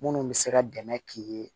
Munnu bɛ se ka dɛmɛ k'i ye